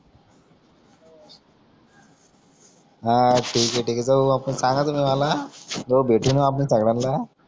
हा ठिके ठिके तुम्ही मला म भेटू म आपण सगळ्यांना